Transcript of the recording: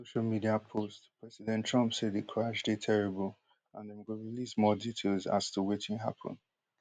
for one social media post president trump say di crash dey terrible and dem go release more details as to wetin happun